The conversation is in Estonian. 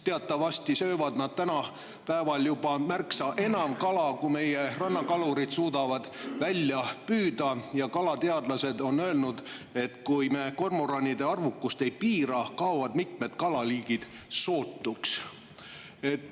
Teatavasti söövad nad tänapäeval juba märksa enam kala, kui meie rannakalurid suudavad välja püüda, ja kalateadlased on öelnud, et kui me kormoranide arvukust ei piira, kaovad mitmed kalaliigid sootuks.